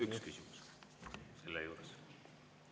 Üks küsimus on selle juures.